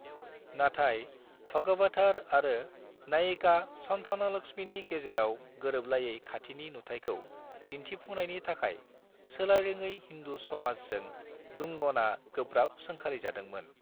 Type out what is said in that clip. नाथाय, भगवथर आरो नायिका सन्थानालक्ष्मीनि गेजेराव गोरोबलायै खाथिनि नुथाइखौ दिन्थिफुंनायनि थाखाय सोलायरोङै हिन्दू समाजजों डूंगनआ गोब्राब सोंखारिजादोंमोन।